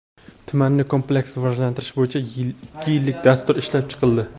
tumanni kompleks rivojlantirish bo‘yicha ikki yillik dastur ishlab chiqildi.